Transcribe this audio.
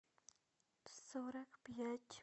сорок пять